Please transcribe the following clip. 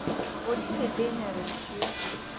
Gũtirĩ thĩna rũciũ.